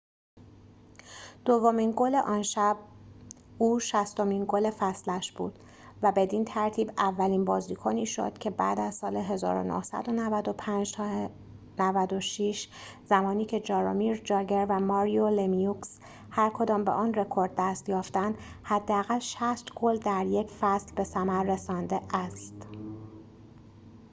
دومین گل آن شب او شصتمین گل فصلش بود و بدین ترتیب اولین بازیکنی شد که بعد از سال ۹۶-۱۹۹۵ زمانی که جارومیر جاگر و ماریو لمیوکس هرکدام به آن رکورد دست یافتند حداقل ۶۰ گل در یک فصل به ثمر رسانده است